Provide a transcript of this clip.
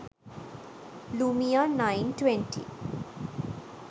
lumia 920